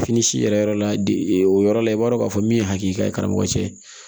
Fini si yɛrɛ yɔrɔ la o yɔrɔ la i b'a dɔn k'a fɔ min ye hakili cɛ ye